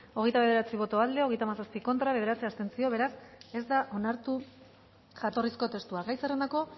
hogeita bederatzi boto aldekoa hogeita hamazazpi contra bederatzi abstentzio beraz ez da onartu jatorrizko testua gai zerrendako